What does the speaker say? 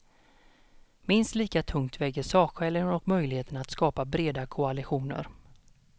Minst lika tungt väger sakskälen och möjligheten att skapa breda koalitioner.